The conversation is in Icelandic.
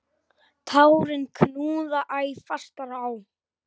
Tárin knúðu æ fastar á.